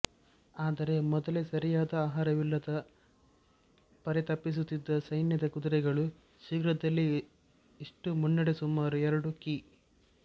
ಆದರೆ ಮೊದಲೇ ಸರಿಯಾದ ಆಹಾರವಿಲ್ಲದೆ ಪರಿತಪಿಸುತ್ತಿದ್ದ ಸೈನ್ಯದ ಕುದುರೆಗಳು ಶೀಘ್ರದಲ್ಲಿಯೇ ಇಷ್ಟು ಮುನ್ನಡೆ ಸುಮಾರು ಎರಡು ಕಿ